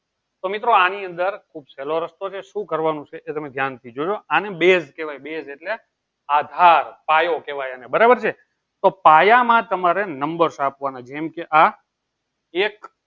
તો મિત્રો આની અંદર છેલ્લો રસ્તો કે શું કરવાનું છે? એ તમે ધ્યાન થી જોજો આને base કેવાય base એટલે આધાર પાયો કેવાય આને બરોબર છે. તો પાયા માં તમારે નંબર આપવાના છે. જેમકે આ આમાં એક